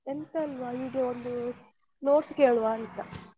ಎಂತ ಇಲ್ವ ಹೀಗೆ ಒಂದು notes ಕೇಳುವಾ ಅಂತ.